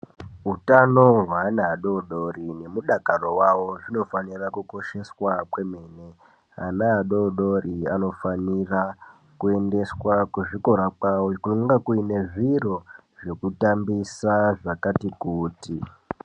Utano hweana adodori nemudakaro wavo zvinofanira kukosheswa kwemene. Ana adodori anofanira kuendeswa kuzvikora kwavo kweinga kune zviro zvekutambisa zvakati kuti.